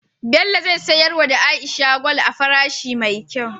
Bello ze siyar wa aisha gwal a farashi me kyau